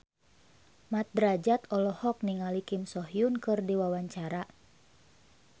Mat Drajat olohok ningali Kim So Hyun keur diwawancara